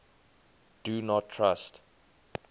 do not trust